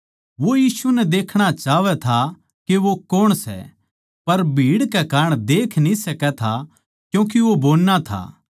वो यीशु नै देखणा चाहवै था के वो कौण सै पर भीड़ कै कारण देख न्ही सकै था क्यूँके वो बोन्ना था